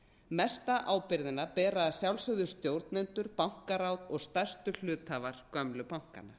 mesta ábyrgðina bera að sjálfsögðu stjórnendur bankaráð og stærstu hluthafar gömlu bankanna